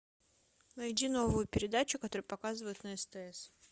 найди новую передачу которую показывают на стс